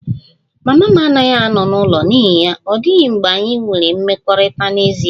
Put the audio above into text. Mama m anaghị ano n'ụlọ n'ihi ya, ọ dịghị mgbe anyị nwere mmekọrịta n'ezie